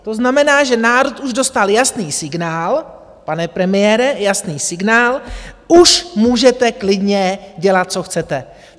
To znamená, že národ už dostal jasný signál, pane premiére, jasný signál, už můžete klidně dělat co chcete.